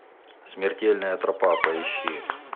смертельная тропа поищи